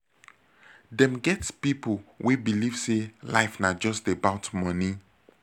dem get pipo wey believe sey life na just about money